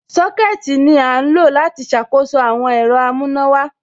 Sọ́kẹ̀tì ní à ń lọ láti ṣàkóso àwọn ẹ̀rọ amùnàwà.